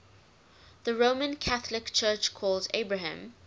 the roman catholic church calls abraham